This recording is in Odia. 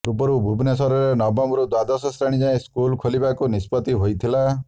ପୂର୍ବରୁ ନଭେମ୍ବରରେ ନବମରୁ ଦ୍ୱାଦଶ ଶ୍ରେଣୀ ଯାଏ ସ୍କୁଲ ଖୋଲିବାକୁ ନିଷ୍ପତ୍ତି ହୋଇଥିଲା